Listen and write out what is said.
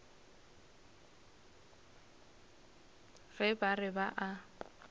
ge ba re ba a